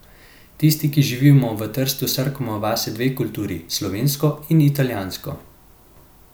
Tisti, ki živimo v Trstu, srkamo vase dve kulturi, slovensko in italijansko.